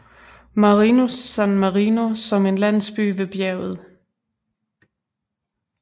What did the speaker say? Marinus San Marino som en landsby ved bjerget